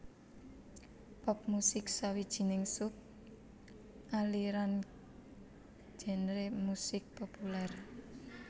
Pop musik sawijining sub aliran genre musik populèr